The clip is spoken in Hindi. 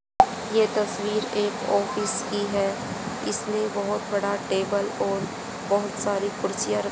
ये तस्वीर एक ऑफिस की है इसमें बहुत बड़ा टेबल और बहुत सारी कुर्सियां र--